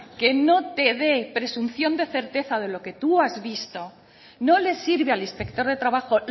que no te de presunción de certeza de lo que tú has visto no le sirve al inspector de trabajo